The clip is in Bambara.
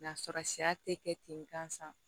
N'a sɔrɔ siya tɛ kɛ ten gansan